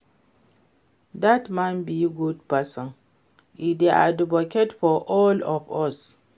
Dat man be good person, e dey advocate for all of us